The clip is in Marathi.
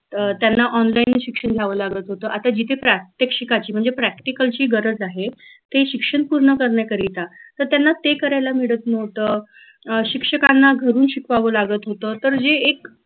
अं त्यांना online शिक्षण घ्याव लागत होत आता जिथे प्रात्यक्षिकाची म्हणजे practical ची गरज आहे ते शिक्षण पूर्ण करण्याकरीता तर त्याना ते करायला मिळत नव्हतं अं शिक्षकांना घरून शिकवावं लागत होत तर जे एक